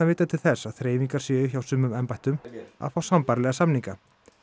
vita til að þreifingar séu hjá sumum embættum að fá sambærilega samninga